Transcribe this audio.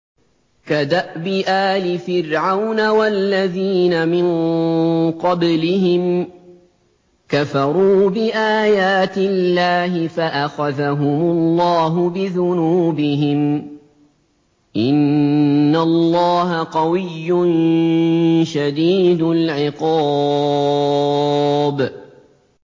كَدَأْبِ آلِ فِرْعَوْنَ ۙ وَالَّذِينَ مِن قَبْلِهِمْ ۚ كَفَرُوا بِآيَاتِ اللَّهِ فَأَخَذَهُمُ اللَّهُ بِذُنُوبِهِمْ ۗ إِنَّ اللَّهَ قَوِيٌّ شَدِيدُ الْعِقَابِ